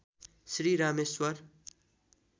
Shri Rameshwar